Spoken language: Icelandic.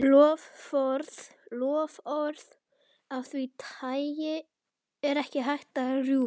Loforð af því tagi er ekki hægt að rjúfa.